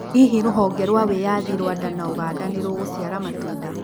Hihi rũhonge rwa wĩyathi Rwanda na Uganda nĩrũgũciara matunda?